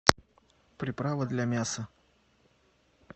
приправа для мяса